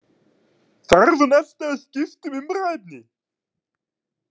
Þarf hún alltaf að skipta um umræðuefni?